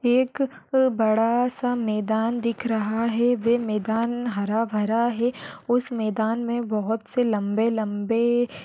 ये एक अह बड़ा सा मैदान दिख रहा है वे मैदान हरा भरा है उस मैदान मे बहुत से लंबे लंबे--